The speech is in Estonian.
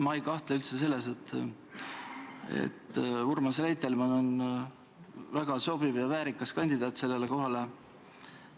Ma ei kahtle üldse selles, et Urmas Reitelmann on väga sobiv ja väärikas kandidaat sellele kohale.